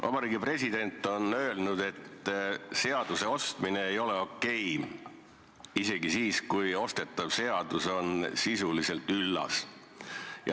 Vabariigi president on öelnud, et seaduse ostmine ei ole okei – isegi siis mitte, kui ostetav seadus on sisuliselt üllas.